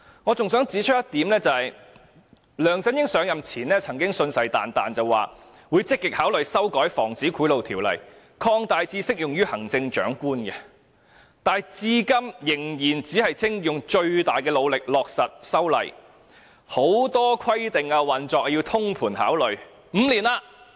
我還想指出一點，梁振英上任前曾經信誓旦旦說，他會積極考慮修改《防止賄賂條例》，把涵蓋範圍擴大至適用於行政長官，但他至今仍然只說會盡最大努力落實修例，很多規定是要經過通盤考慮的。